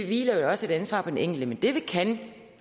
hviler jo også et ansvar på den enkelte men det vi kan